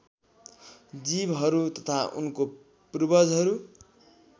जीवहरू तथा उनको पूर्वजहरू